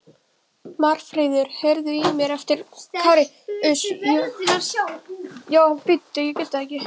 Marfríður, heyrðu í mér eftir fimmtíu og níu mínútur.